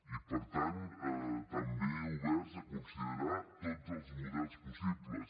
i per tant també oberts a considerar tots els models possibles